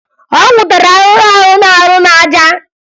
Ọ nwụtara ahụhụ ahụ na-arị n'aja